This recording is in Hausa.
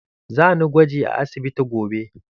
Za ni gwaji a asibiti gobe.